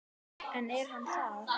En er hann það?